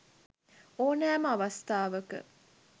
ඕනෑම අවස්ථාවක